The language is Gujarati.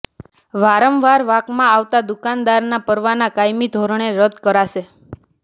વારંવાર વાંકમાં આવતા દુકાનદારનાં પરવાના કાયમી ધોરણે રદ કરાશે